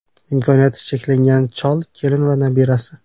Imkoniyati cheklangan chol, kelin va nabirasi.